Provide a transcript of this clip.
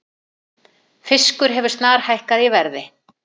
Fiskur hefur snarhækkað í verði